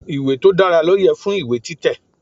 Ìwé tó dára ló yẹ fún ìwé títẹ̀.